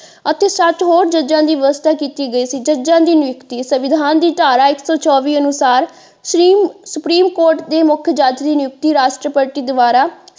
ਅਤੇ ਸੱਤ ਹੋਤ ਜਜਾਂ ਦੀ ਵਿਵਸਥਾ ਕੀਤੀ ਗਈ ਸੀ ਜੱਜਾਂ ਦੀ ਨਿਯੁਕਤੀ ਸੰਵਿਧਾਨ ਦੀ ਧਾਰਾ ਇੱਕ ਸੋ ਚੋਵੀ ਅਨੁਸਾਰ ਸੁਪਰੀਮ ਸੁਪਰੀਮ ਕੋਰਟ ਦੇ ਮੁੱਖ ਜੱਜ ਦੀ ਨਿਯੁਕਤੀ ਰਾਸਟਰਪਤੀ ਦੁਆਰਾ।